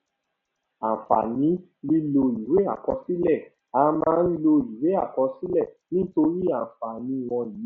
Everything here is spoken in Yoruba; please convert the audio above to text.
àǹfààní lílọ ìwé àkọsílẹ a máa ń lo ìwé àkọsílẹ nítorí àǹfààní wọnyí